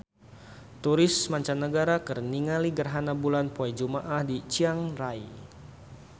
Turis mancanagara keur ningali gerhana bulan poe Jumaah di Chiang Rai